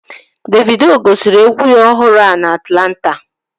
Davido gosiri egwu ya ọhụrụ a na Atlanta